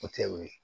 O tɛ o ye